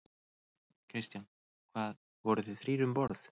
Kristján: Hvað, voruð þið þrír um borð?